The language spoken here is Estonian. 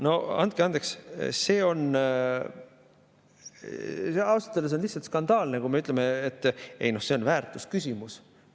No andke andeks, see on ausalt öeldes lihtsalt skandaalne, kui me ütleme, et noh, see on väärtusküsimus.